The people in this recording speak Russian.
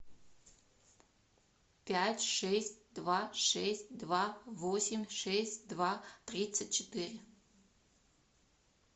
пять шесть два шесть два восемь шесть два тридцать четыре